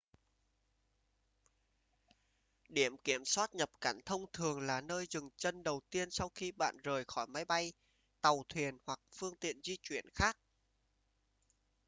điểm kiểm soát nhập cảnh thông thường là nơi dừng chân đầu tiên sau khi bạn rời khỏi máy bay tàu thuyền hoặc phương tiện di chuyển khác